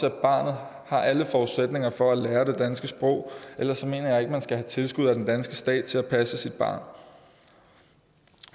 at barnet har alle forudsætninger for at lære det danske sprog ellers mener jeg ikke at man skal have tilskud af den danske stat til at passe sit barn